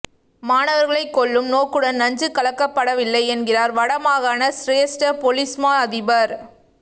மாணவர்களைக் கொல்லும் நோக்குடன் நஞ்சு கலக்கப்படவில்லை என்கிறார் வட மாகாண சிரேஸ்ட பொலிஸ்மா அதிபர்